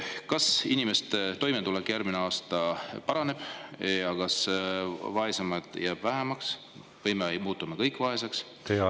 Kas inimeste toimetulek järgmine aasta paraneb ja kas vaeseid jääb vähemaks või me muutume kõik vaeseks?